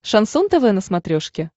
шансон тв на смотрешке